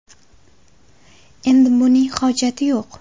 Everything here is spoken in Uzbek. Endi buning hojati yo‘q.